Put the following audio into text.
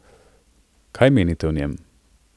Kaj menite o njem?